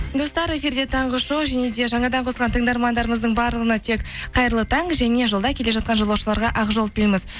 достар эфирде таңғы шоу және де жаңадан қосылған тыңдармандарымыздың барлығына тек қайырлы таң және жолда келе жатқан жолаушыларға ақ жол тілейміз